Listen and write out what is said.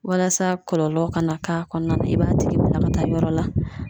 Walasa kɔlɔlɔ kana k'a kɔnɔna na i b'a tigi bila ka taa yɔrɔ la